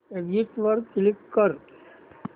exit वर click कर